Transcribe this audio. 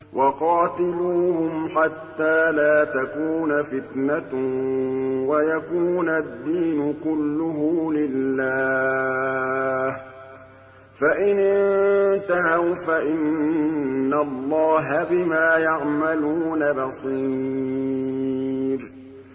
وَقَاتِلُوهُمْ حَتَّىٰ لَا تَكُونَ فِتْنَةٌ وَيَكُونَ الدِّينُ كُلُّهُ لِلَّهِ ۚ فَإِنِ انتَهَوْا فَإِنَّ اللَّهَ بِمَا يَعْمَلُونَ بَصِيرٌ